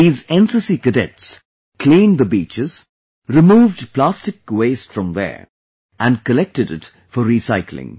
These cadets cleaned the beaches, removed plastic waste from there and collected it for recycling